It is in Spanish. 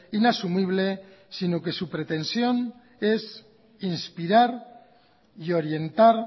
inasumible sino que su pretensión es inspirar y orientar